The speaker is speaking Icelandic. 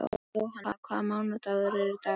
Jóanna, hvaða mánaðardagur er í dag?